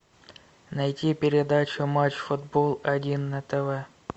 найти передачу матч футбол один на тв